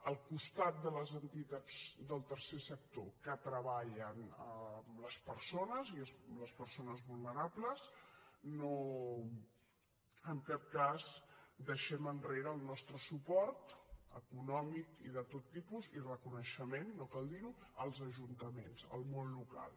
al costat de les entitats del tercer sector que treballen amb les persones i les persones vulnerables en cap cas deixem enrere el nostre suport econòmic i de tot tipus i reconeixement no cal dirho als ajuntaments al món local